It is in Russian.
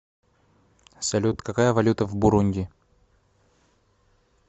салют какая валюта в бурунди